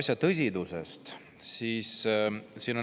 Nüüd teine pool sellest tõsisest asjast.